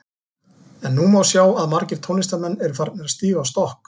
En nú má sjá að margir tónlistarmenn eru að farnir að stíga á stokk.